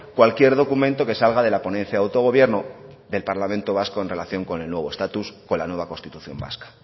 cualquier documento que salga de la ponencia de autogobierno del parlamento vasco en relación con el nuevo estatus con la nueva constitución vasca